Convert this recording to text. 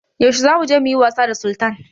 Yaushe zamu je muyi wasa da Sultan?